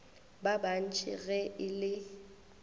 ba bant ge e le